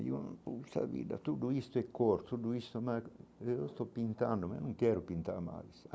E eu puxa vida, tudo isso é cor, tudo isso eu estou pintando, mas eu não quero pintar mais.